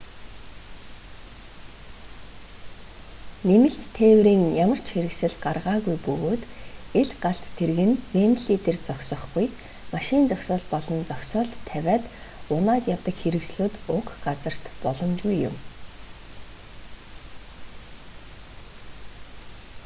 нэмэлт тээврийн ямар ч хэрэгсэл гаргаагүй бөгөөд ил галт тэрэг нь вэмбли дээр зогсохгүй машин зогсоол болон зогсоолд тавиад унаад явдаг хэрэгслүүд уг газарт боломжгүй юм